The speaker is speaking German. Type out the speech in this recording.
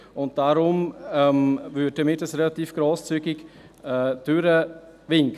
Deshalb würden wir das Ganze relativ grosszügig durchwinken.